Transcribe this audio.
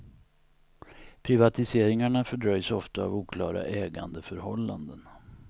Privatiseringarna fördröjs ofta av oklara ägandeförhållanden.